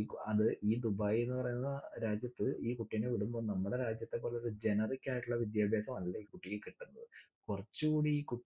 UAE ദുബൈയെന്നു പറയുന്ന രാജ്യത്ത് ഈ കുട്ടീനെ വിടുംബം നമ്മടെ രാജ്യത്തെ പോലൊരു generic ആയിട്ടുള്ള വിദ്യാഭ്യാസമല്ല ഈ കുട്ടിക്ക് കിട്ടുന്നത്. കുറച്ചൂടി കു